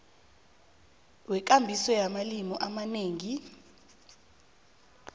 wekambiso yamalimi amanengi